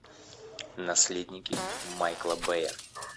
наследники майкла бэя